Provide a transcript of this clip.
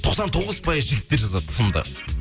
тоқсан тоғыз пайыз жігіттер жазады сынды